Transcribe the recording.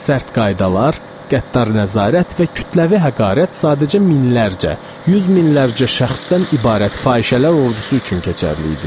Sərt qaydalar, qəddar nəzarət və kütləvi həqarət sadəcə minlərcə, yüz minlərcə şəxsdən ibarət fahişələr ordusu üçün keçərli idi.